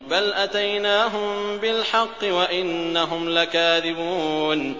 بَلْ أَتَيْنَاهُم بِالْحَقِّ وَإِنَّهُمْ لَكَاذِبُونَ